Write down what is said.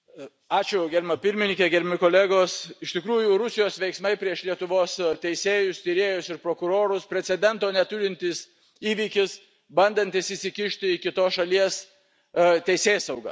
Ačiū, gerbiama pirmininke, gerbiami kolegos, iš tikrųjų Rusijos veiksmai prieš Lietuvos teisėjus, tyrėjas ir prokurorus, precedento neturintis įvykis, bandantis įsikišti į kitos šalies teisėsaugą.